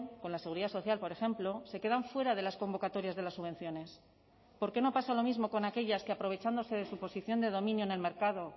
con la seguridad social por ejemplo se quedan fuera de las convocatorias de las subvenciones por qué no pasa lo mismo con aquellas que aprovechándose de su posición de dominio en el mercado